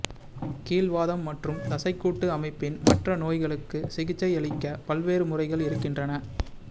கீல்வாதம் மற்றும் தசைக்கூட்டு அமைப்பின் மற்ற நோய்களுக்கு சிகிச்சையளிக்க பல்வேறு முறைகள் இருக்கின்றன